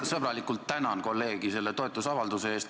Ma sõbralikult tänan kolleegi selle toetusavalduse eest.